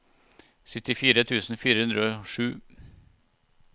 syttifire tusen fire hundre og sju